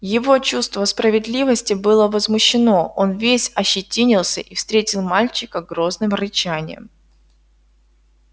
его чувство справедливости было возмущено он весь ощетинился и встретил мальчика грозным рычанием